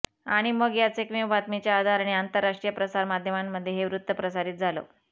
आणि मग याच एकमेव बातमीच्या आधाराने आंतरराष्ट्रीय प्रसार माध्यमांमध्ये हे वृत्त प्रसारित झालं